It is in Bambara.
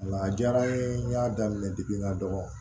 Nka a diyara n ye n y'a daminɛ n ka dɔgɔ